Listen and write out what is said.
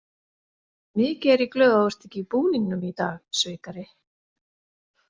Mikið er ég glöð að þú ert ekki í búningnum í dag, svikari.